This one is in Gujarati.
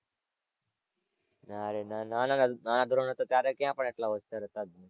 ના રે ના નાના નાના નાના ધોરણ હતાં ત્યારે ક્યાં પણ આટલા હોશિયાર હતાં.